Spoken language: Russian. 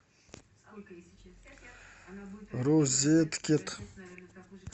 розеткед